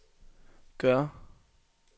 gør